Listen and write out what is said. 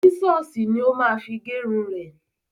Sísọ̀sì ní ó ma fi gẹrun ẹ̀.